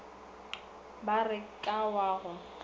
ba re ka wa go